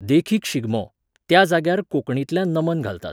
देखीक शिगमो, त्या जाग्यार कोंकणींतल्यान नमन घालतात.